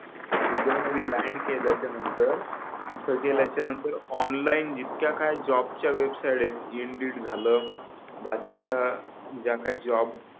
Dubai मध्ये land केल्याच्या नंतर तिथ गेल्याच्या नंतर ऑनलाईन जितक्या काही जॉब च्या वेबसाइट आहेत इंडिड झाल बाकीच्या ज्या काही जॉब